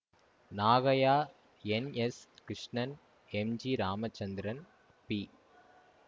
Nagaiah N S Krishnan M G Ramachandran B